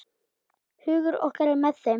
Hugur okkar er með þeim.